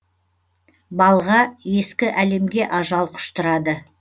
балға ескі әлемге ажал құштырады